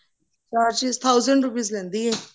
charge six thousand rupees ਲੈਂਦੀ ਹੈ